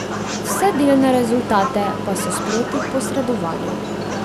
Vse delne rezultate pa so sproti posredovali.